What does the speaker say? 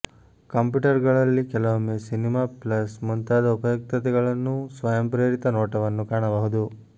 ಕಂಪ್ಯೂಟರ್ಗಳಲ್ಲಿ ಕೆಲವೊಮ್ಮೆ cinema plus ಮುಂತಾದ ಉಪಯುಕ್ತತೆಗಳನ್ನು ಸ್ವಯಂಪ್ರೇರಿತ ನೋಟವನ್ನು ಕಾಣಬಹುದು